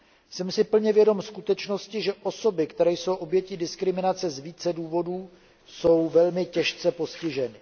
Jsem si plně vědom skutečnosti, že osoby, které jsou obětí diskriminace z více důvodů, jsou velmi těžce postiženy.